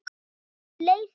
Hvernig leið þér?